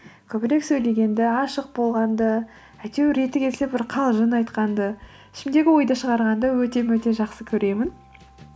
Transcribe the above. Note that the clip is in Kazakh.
көбірек сөйлегенді ашық болғанды әйтеуір реті келсе бір қалжың айтқанды ішімдегі ойды шығарғанды өте мөте жақсы көремін